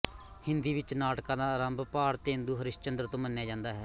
ਹਿੰਦੀ ਵਿੱਚ ਨਾਟਕਾਂ ਦਾ ਅਰੰਭ ਭਾਰਤੇਂਦੁ ਹਰਿਸ਼ਚੰਦਰ ਤੋਂ ਮੰਨਿਆ ਜਾਂਦਾ ਹੈ